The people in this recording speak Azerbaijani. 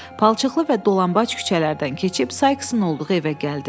Palçıqlı və dolanbac küçələrdən keçib Sayksın olduğu evə gəldi.